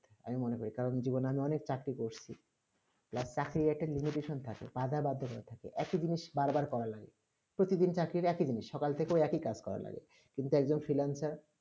আমি মনে করি জীবনে আমি অনেক চাকরি করেছি যা চাকরি একটা limition থাকে উক্তি জিনিস বার করা লাগে প্রতি দিন চাকরি এক ই জিনিস সকাল থেকে এক ই কাজ করা লাগে কিন্তু এক জন freelancer